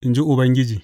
in ji Ubangiji.